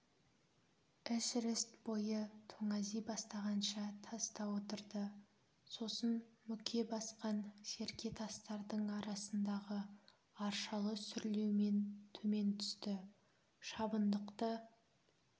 эшерест бойы тоңази бастағанша таста отырды сосын мүке басқан серке тастардың арасындағы аршалы сүрлеумен төмен түсті шабындықты